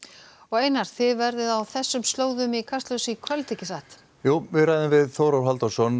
einar þið verðið á þessum slóðum í Kastljósinu í kvöld ekki satt jú við ræðum við Þórólf Halldórsson